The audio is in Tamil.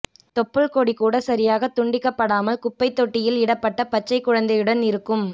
தொப்புள் கொடி கூட சரியாகத் துண்டிக்கப் படாமல் குப்பைத் தொட்டியில் இடப்பட்ட பச்சை குழந்தையுடன் இருக்கும்